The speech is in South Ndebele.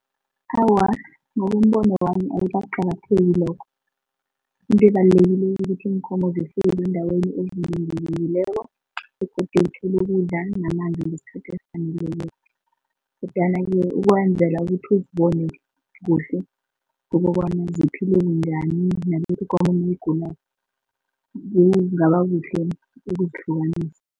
Awa, ngokombono wami ayikaqakatheki lokho into ebalulekileko ukuthi iinkomo zefuyo zeendaweni evikelekileko begodu zithole ukudla namanzi ngesikhathi esifanekileko, kodwanake ukwenzela ukuthi uzibone kuhle kukobana ziphile bunjani nalokha ikomo nayigulako kungaba kuhle ukuzihlukanisa.